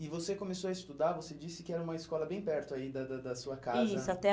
E você começou a estudar, você disse que era uma escola bem perto aí da da da sua casa. Isso ate